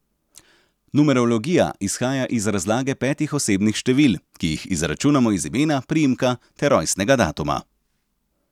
Numerologija izhaja iz razlage petih osebnih števil, ki jih izračunamo iz imena, priimka ter rojstnega datuma.